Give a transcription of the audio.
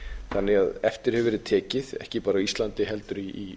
þannig að eftir hefur verið tekið ekki bara á íslandi heldur í